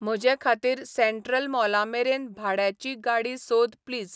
म्हजेखाातीर central मॉलामेरेन भाड्याची गाडी सोद प्लीज